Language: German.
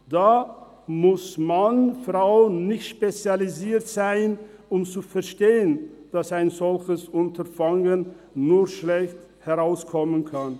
Da muss man/frau nicht spezialisiert sein, um zu verstehen, dass ein solches Unterfangen nur schlecht herauskommen kann: